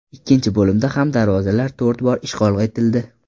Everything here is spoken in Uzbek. Ikkinchi bo‘limda ham darvozalar to‘rt bor ishg‘ol etildi.